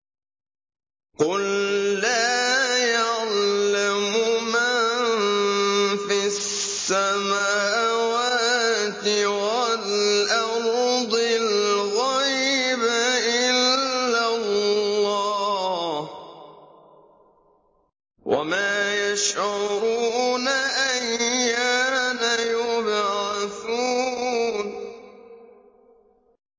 قُل لَّا يَعْلَمُ مَن فِي السَّمَاوَاتِ وَالْأَرْضِ الْغَيْبَ إِلَّا اللَّهُ ۚ وَمَا يَشْعُرُونَ أَيَّانَ يُبْعَثُونَ